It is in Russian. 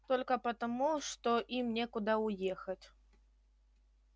только потому что им некуда уехать